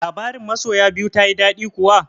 Labarin masoya biyu tayi daɗi kuwa?